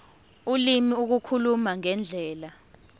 ulimi ukukhuluma ngendlela